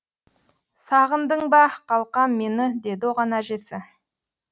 сағындың ба қалқам мені деді оған әжесі